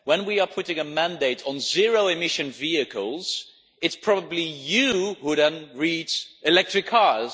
When we are putting a mandate on zero-emission vehicles it is probably you who then reads electric cars'.